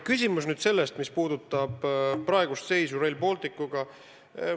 Küsimus on aga selles, mis puudutab praegust seisu Rail Balticuga.